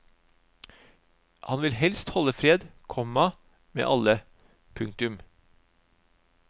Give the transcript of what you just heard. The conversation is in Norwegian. Han vil helst holde fred, komma med alle. punktum